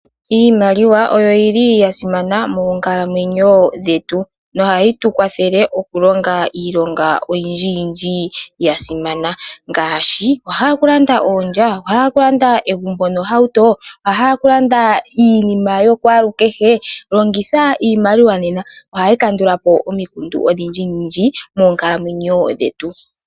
Iimaliwa oyo yili ya simana moonkalamwenyo dhetu nohayi tukwathele oku longa iilonga oyindji ya simana ngaashi okulanda oondja, okulanda egumbo nohauto, okulanda iinima yokwaalukehe. Longitha iimaliwa nena ohayi kandulapo omikundu odhindji moonkalamwenyo dhetu.